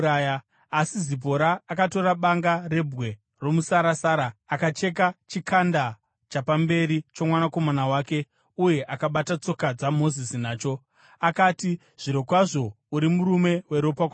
Asi Zipora akatora banga rebwe romusarasara akacheka chikanda chapamberi chomwanakomana wake uye akabata tsoka dzaMozisi nacho. Akati, “Zvirokwazvo uri murume weropa kwandiri.”